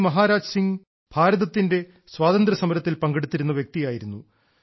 ഭായി മഹാരാജ സിംഹ് ഭാരതത്തിന്റെ സ്വാതന്ത്ര്യസമരത്തിൽ പങ്കെടുത്തിരുന്നു വ്യക്തിയായിരുന്നു